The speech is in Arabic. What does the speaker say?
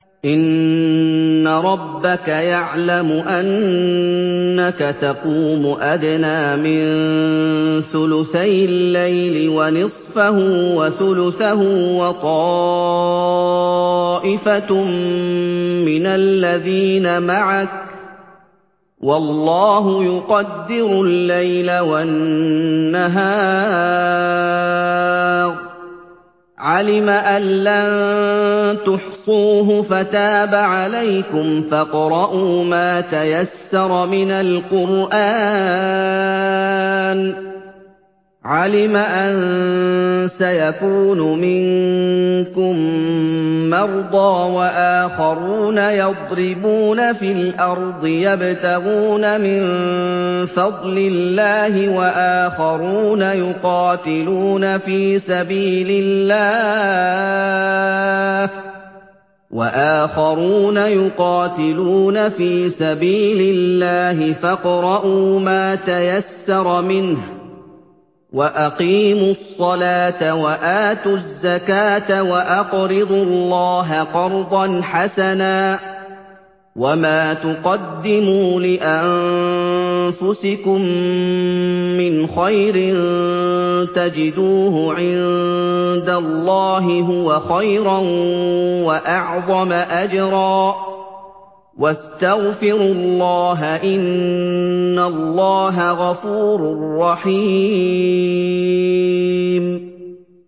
۞ إِنَّ رَبَّكَ يَعْلَمُ أَنَّكَ تَقُومُ أَدْنَىٰ مِن ثُلُثَيِ اللَّيْلِ وَنِصْفَهُ وَثُلُثَهُ وَطَائِفَةٌ مِّنَ الَّذِينَ مَعَكَ ۚ وَاللَّهُ يُقَدِّرُ اللَّيْلَ وَالنَّهَارَ ۚ عَلِمَ أَن لَّن تُحْصُوهُ فَتَابَ عَلَيْكُمْ ۖ فَاقْرَءُوا مَا تَيَسَّرَ مِنَ الْقُرْآنِ ۚ عَلِمَ أَن سَيَكُونُ مِنكُم مَّرْضَىٰ ۙ وَآخَرُونَ يَضْرِبُونَ فِي الْأَرْضِ يَبْتَغُونَ مِن فَضْلِ اللَّهِ ۙ وَآخَرُونَ يُقَاتِلُونَ فِي سَبِيلِ اللَّهِ ۖ فَاقْرَءُوا مَا تَيَسَّرَ مِنْهُ ۚ وَأَقِيمُوا الصَّلَاةَ وَآتُوا الزَّكَاةَ وَأَقْرِضُوا اللَّهَ قَرْضًا حَسَنًا ۚ وَمَا تُقَدِّمُوا لِأَنفُسِكُم مِّنْ خَيْرٍ تَجِدُوهُ عِندَ اللَّهِ هُوَ خَيْرًا وَأَعْظَمَ أَجْرًا ۚ وَاسْتَغْفِرُوا اللَّهَ ۖ إِنَّ اللَّهَ غَفُورٌ رَّحِيمٌ